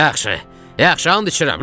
Yaxşı, yaxşı, and içirəm.